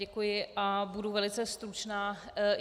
Děkuji a budu velice stručná.